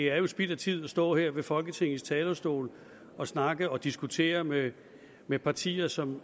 er spild af tid at stå her ved folketingets talerstol og snakke og diskutere med med partier som